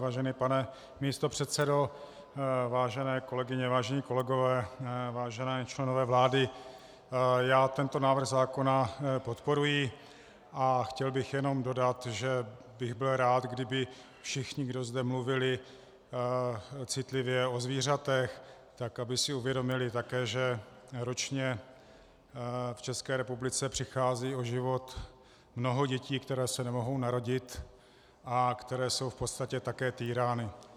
Vážený pane místopředsedo, vážené kolegyně, vážení kolegové, vážení členové vlády, já tento návrh zákona podporuji a chtěl bych jenom dodat, že bych byl rád, kdyby všichni, kdo zde mluvili citlivě o zvířatech, tak aby si uvědomili také, že ročně v České republice přichází o život mnoho dětí, které se nemohou narodit a které jsou v podstatě také týrány.